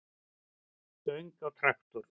stöng á traktor.